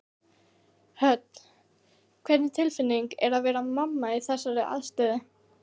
Hödd: Hvernig tilfinning er að vera mamma í þessari aðstöðu?